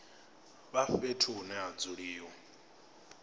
vha fhethu hune ha dzuliwa